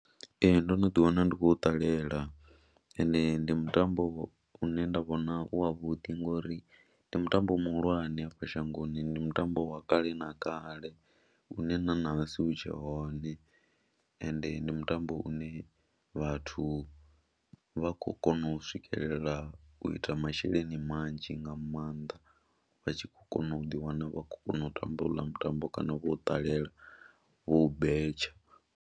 Ee, ndo no ḓiwana ndi khou ṱalela ende ndi mutambo une nda vhona u wavhuḓi ngori ndi mutambo muhulwane hafha shangoni. ndi mutambo wa kale na kale une na ṋahasi hu tshe hone ende ndi mutambo une vhathu vha khou kona u swikelela u ita masheleni manzhi nga maanḓa, vha tshi khou kona u ḓiwana vha khou kona u tamba houḽa mutambo kana vho u ṱalela vho u betsha.